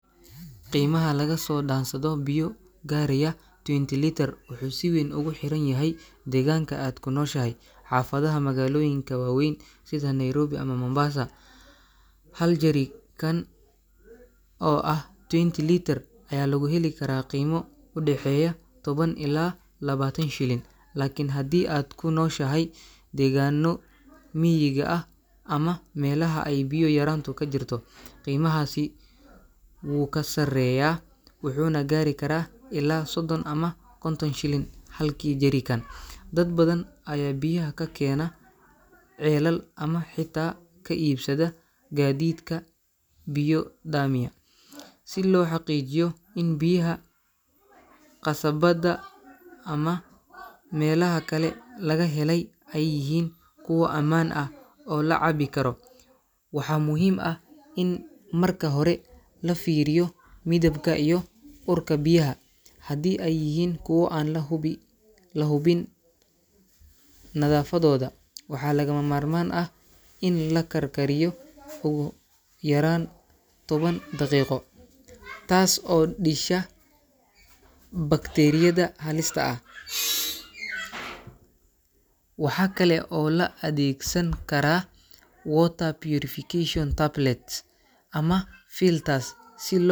Qeymaha laga soo daansado biyo gaaraya 20 litre wuxuu si weeyn oguxiranyhy deeganka aad kunooshahy, xafadaha magaalooyinka waa weyn sida Nairobi ama Mombasa. hal jarikan oo ah 20 liter ayaa lagu heli karaa qeemo udexeya tawan ilaa 20 shilin. Lakin kadi aad kunooshahy degaano miyigi ax ama melaxa ey biyo yaraanta kajirto qimaxasi uu kasareyaa wuxuna gaari karaa 30 ilaa 50 shilin halkii jarikan. Dad badan ayaa biyaha kakenaa ceelal ama xitaa kaibsada gaadidka biyo daamiya si loxaqiijiyo in biyaha qasabada ama meelaha kale laga hela ey yihin kuwa amaan ax oo lacabi karo. Waxaa muhiim ax in marka hore lafiiryo midibka iyo urka biyaha ,hadi ey yihin kuwa an lahubin nadafadooda waxaa lama marmaan ax in lakarkaryio oogu yaraan tawan daqiiqo taas oo disho bacteriyada halista ax. Waxaa kale oo laadegsan karaa water purification tablets ama filters.